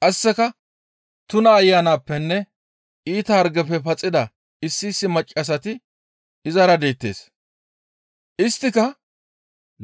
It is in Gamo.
Qasseka tuna ayanappenne iita hargefe paxida issi issi maccassati izara deettes. Isttika